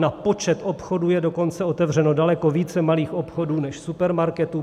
Na počet obchodů je dokonce otevřeno daleko více malých obchodů než supermarketů.